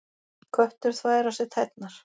Köttur þvær á sér tærnar.